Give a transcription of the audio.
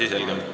Asi selge.